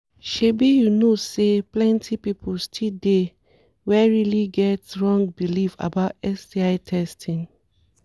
shebi you know say plenty people still dey were really get wrong belief about sti testing."